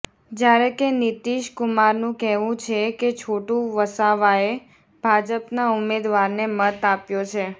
જ્યારે કે નીતીશ કુમારનું કહેવું છે કે છોટુ વસાવાએ ભાજપના ઉમેદવારને મત આપ્યો છે